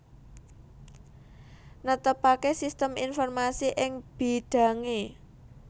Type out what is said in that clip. Netepaké sistem informasi ing bidhangé